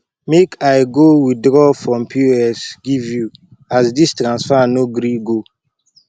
make i go withraw from pos give you as this transfer no gree go